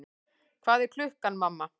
Hvað er klukkan, mamma?